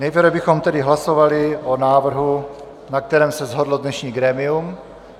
Nejprve bychom tedy hlasovali o návrhu, na kterém se shodlo dnešní grémium.